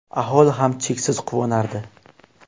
Aholi ham cheksiz quvonardi”.